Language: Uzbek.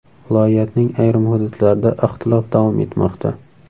Viloyatning ayrim hududlarida ixtilof davom etmoqda.